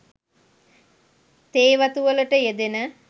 තේ වතු වලට යෙදෙන